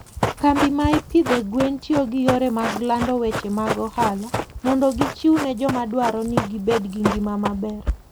Kambi ma ipidho gwen tiyo gi yore mag lando weche mag ohala mondo gichiw ne joma dwaro ni gibed gi ngima maber.